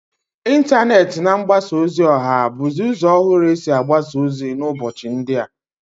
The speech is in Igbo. Intaneti na mgbasa ozi oha buzi uzo ohuru esi agbasa ozi n'ubochi ndia.